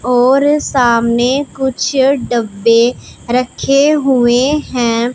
और सामने कुछ डब्बे रखे हुए हैं।